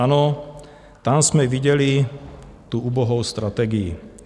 Ano, tam jsme viděli tu ubohou strategii.